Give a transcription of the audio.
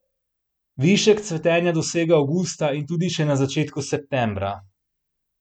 Višek cvetenja dosega avgusta in tudi še na začetku septembra.